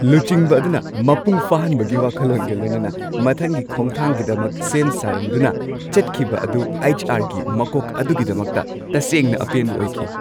ꯂꯨꯆꯤꯡꯕ ꯑꯗꯨꯅ ꯃꯄꯨꯡ ꯐꯥꯍꯟꯕꯒꯤ ꯋꯥꯈꯜꯂꯣꯟꯒ ꯂꯣꯏꯅꯅ ꯃꯊꯪꯒꯤ ꯈꯣꯡꯊꯥꯡꯒꯤꯗꯃꯛ ꯁꯦꯝ ꯁꯥꯔꯝꯗꯨꯅ ꯆꯠꯈꯤꯕ ꯑꯗꯨ ꯑꯩꯆ. ꯑꯥꯔ. ꯒꯤ ꯃꯀꯣꯛ ꯑꯗꯨꯒꯤꯗꯃꯛꯇ ꯇꯁꯦꯡꯅ ꯑꯄꯦꯟꯕ ꯑꯣꯏꯈꯤ ꯫